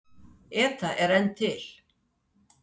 ETA er enn til.